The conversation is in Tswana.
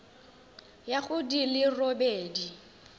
ya go di le robedi